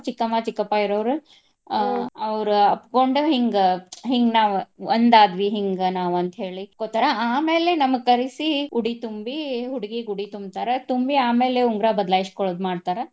ಅವ್ರ ಚಿಕ್ಕಮ್ಮ, ಚಿಕ್ಕಪ್ಪ ಇರೋವ್ರ ಆಹ್ ಅವ್ರ ಅಪ್ಪ್ಕೊಂಡ ಹಿಂಗ ಹಿಂಗ ನಾವ ಒಂದ ಆದ್ವಿ ಹಿಂಗ ನಾವ ಅಂತ ಹೇಳಿ ಅಪ್ಪ್ಕೊತಾರ. ಆಮೇಲೆ ನಮಗ ಕರಿಸಿ ಉಡಿ ತುಂಬಿ ಹುಡ್ಗಿಗ್ ಉಡಿ ತುಂಬ್ತಾರ. ತುಂಬಿ ಆಮೇಲೆ ಉಂಗ್ರಾ ಬದಲಾಸ್ಕೊಳ್ಳೊದ್ ಮಾಡ್ತಾರ.